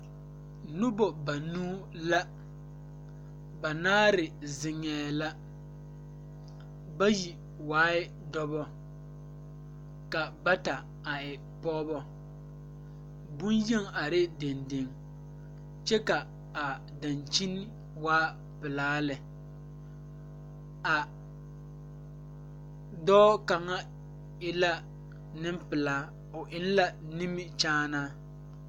Nobɔ banuu la banaare zeŋɛɛ la bayi waai dɔbɔ ka bata waa pɔɔbɔ bonyeni arɛɛ deŋ deŋ kyɛ ka a dankyini waa pelaa lɛ a dɔɔ kaŋa e la neŋpelaa o eŋ la nimikyaanaa.